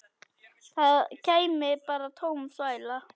Það kæmi bara tóm þvæla.